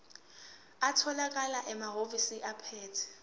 atholakala emahhovisi abaphethe